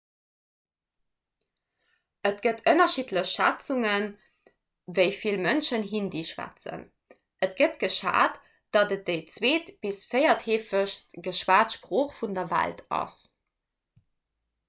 et gëtt ënnerschiddlech schätzungen wéi vill mënschen hindi schwätzen et gëtt geschat datt et déi zweet bis véiertheefegst geschwat sprooch vun der welt ass